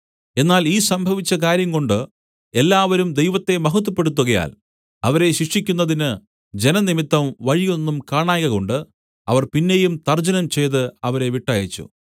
എന്നാൽ ഈ സംഭവിച്ച കാര്യം കൊണ്ട് എല്ലാവരും ദൈവത്തെ മഹത്വപ്പെടുത്തുകയാൽ അവരെ ശിക്ഷിക്കുന്നതിന് ജനം നിമിത്തം വഴി ഒന്നും കാണായ്കകൊണ്ട് അവർ പിന്നെയും തർജ്ജനം ചെയ്ത് അവരെ വിട്ടയച്ചു